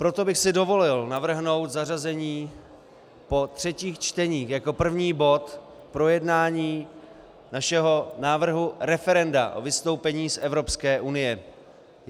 Proto bych si dovolil navrhnout zařazení po třetích čteních jako první bod projednání našeho návrhu referenda o vystoupení z Evropské unie.